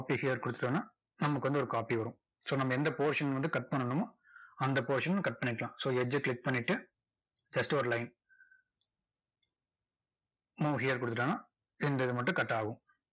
கொடுத்துட்டோம்னா நமக்கு வந்து ஒரு copy வரும் so நம்ம எந்த portion வந்து cut பண்ணணுமோ அந்த portion cut பண்ணிக்கலாம் so edge அ click பண்ணிட்டு just ஒரு line move here கொடுத்துட்டோம்னா, இந்த இது மட்டும் cut ஆகும்.